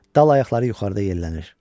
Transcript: Dal ayaqları yuxarıda yellənir.